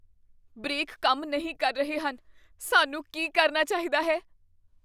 Break ਕੰਮ ਨਹੀਂ ਕਰ ਰਹੇ ਹਨ। ਸਾਨੂੰ ਕੀ ਕਰਨਾ ਚਾਹੀਦਾ ਹੈ?